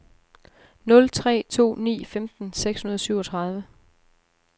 nul tre to ni femten seks hundrede og syvogtredive